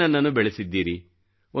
ನೀವೇ ನನ್ನನ್ನು ಬೆಳೆಸಿದ್ದೀರಿ